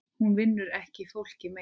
Hún vinnur ekki fólki mein.